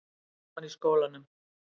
Gaman í skólanum?